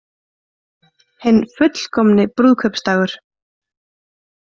Hinn fullkomni brúðkaupsdagur